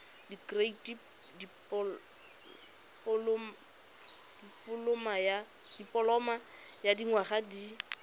dikirii dipoloma ya dinyaga di